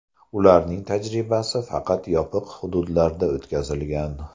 Ularning tajribasi faqat yopiq hududlarda o‘tkazilgan.